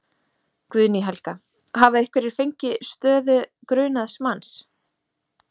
Guðný Helga: Hafa einhverjir fengið stöðu grunaðs manns?